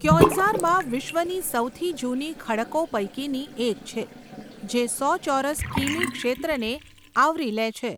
ક્યોંઝારમાં વિશ્વની સૌથી જૂની ખડકો પૈકીની એક છે, જે સો ચોરસ કિમી ક્ષેત્રને આવરી લે છે.